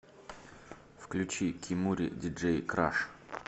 включи кемури диджей краш